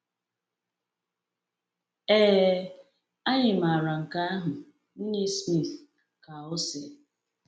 “Ee, anyị maara nke ahụ, Nwunye Smith,” ka ọ sị.